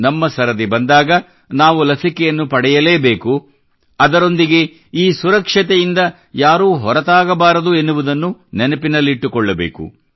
ನಮ್ಮ ಸರದಿ ಬಂದಾಗ ನಾವು ಲಸಿಕೆಯನ್ನು ಪಡೆಯಲೇ ಬೇಕು ಅದರೊಂದಿಗೆ ಈ ಸುರಕ್ಷತೆಯಿಂದ ಯಾರೂ ಹೊರತಾಗಬಾರದು ಎನ್ನುವುದನ್ನು ನೆನಪಿಟ್ಟುಕೊಳ್ಳಬೇಕು